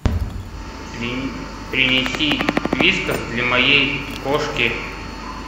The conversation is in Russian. принеси вискас для моей кошки